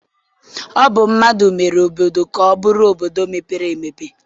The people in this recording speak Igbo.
Ọ bụ mmadụ mere obodo ka ọ bụrụ obodo mepere emepe